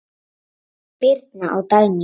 Birna og Dagný.